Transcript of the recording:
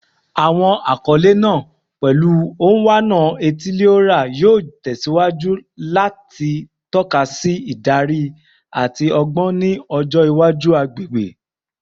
Awọn akọle naa, pẹlu “Onwa-na-etili-ora,” yoo tẹsiwaju lati tọka si idari ati ọgbọn ni ọjọ iwaju agbegbe